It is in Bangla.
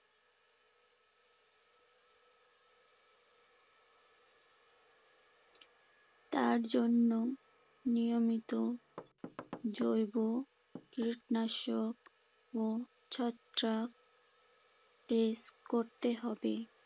তার জন্য নিয়মিত জৈব কীটনাশক ও ছত্রাক spray করতে হবে।